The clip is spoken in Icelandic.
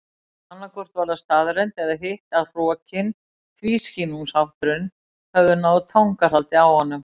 Annaðhvort var það staðreynd eða hitt að hrokinn og tvískinnungshátturinn höfðu náð tangarhaldi á honum.